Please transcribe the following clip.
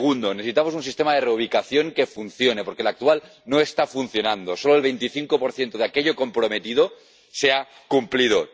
Segundo necesitamos un sistema de reubicación que funcione, porque el actual no está funcionando solo el 25 de aquello comprometido se ha cumplido.